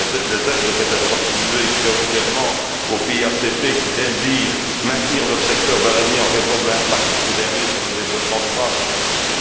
Les aides devraient être attribuées prioritairement aux pays ACP qui désirent maintenir leur secteur bananier en raison de l'impact de ce dernier sur le développement durable de leur pays.